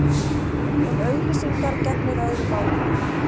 Um auglýsingar gegnir öðru máli.